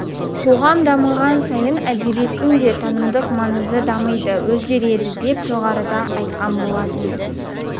қоғам дамыған сайын әдебиеттің де танымдық маңызы дамиды өзгереді деп жоғарыда айтқан болатынбыз